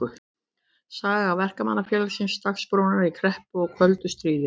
Saga Verkamannafélagsins Dagsbrúnar í kreppu og köldu stríði.